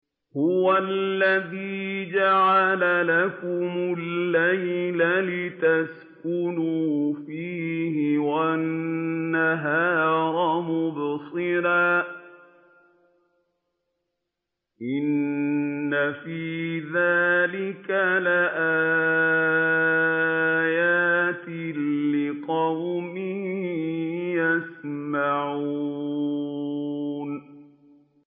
هُوَ الَّذِي جَعَلَ لَكُمُ اللَّيْلَ لِتَسْكُنُوا فِيهِ وَالنَّهَارَ مُبْصِرًا ۚ إِنَّ فِي ذَٰلِكَ لَآيَاتٍ لِّقَوْمٍ يَسْمَعُونَ